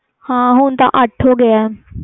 ਹਾਂ ਹੁਣ ਤੇ ਅੱਠ ਹੋ ਗੇ